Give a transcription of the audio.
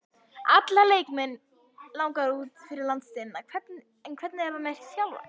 Alla leikmenn langar út fyrir landsteinana, hvernig er með þjálfarann?